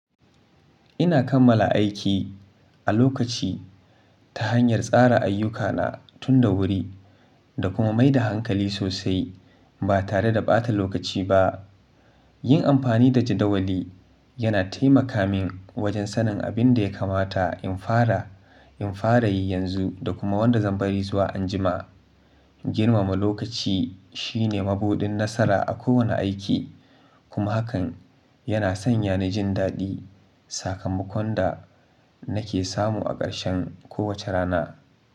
Ina kammala aiki a lokaci ta hanyar tsara ayyukana tun da wuri da kuma mai da hankali sosai ba tare da ɓata lokaci ba. Yin amfani da jadawali yana taimaka min wajen sanin abin da ya kamata in fara, in fara yi yanzu da kuma wanda zan bari zuwa anjima. Girmama lokaci shine mabuɗin nasara a kowane aiki, kuma hakan yana sanya ni jin daɗi sakamakon da nake samu a ƙarshen kowace rana.